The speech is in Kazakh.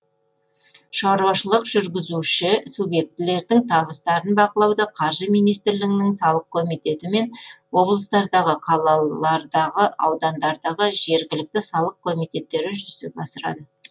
шаруашылық жүргізуші субъектілердің табыстарын бақылауды қаржы министрлігінің салық комитеті мен облыстардағы қалалардағы аудандардағы жергілікті салық комитеттері жүзеге асырады